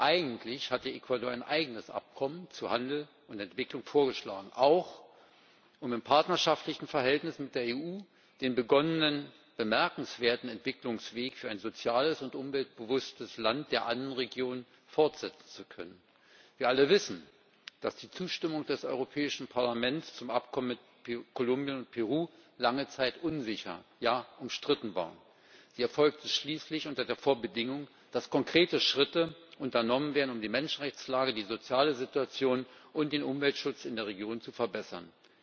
Eigentlich hatte Ecuador ein eigenes Abkommen zu Handel und Entwicklung vorgeschlagen, auch um im partnerschaftlichen Verhältnis mit der EU den begonnenen bemerkenswerten Entwicklungsweg für ein soziales und umweltbewusstes Land der Andenregion fortsetzen zu können. Wir alle wissen, dass die Zustimmung des Europäischen Parlaments zum Abkommen mit Kolumbien und Peru lange Zeit unsicher, ja umstritten war. Sie erfolgte schließlich unter der Vorbedingung, dass konkrete Schritte unternommen werden, um die Menschenrechtslage, die soziale Situation und den Umweltschutz in der Region zu verbessern.